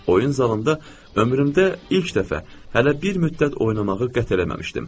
Oyun zalında ömrümdə ilk dəfə hələ bir müddət oynamağı qət eləməmişdim.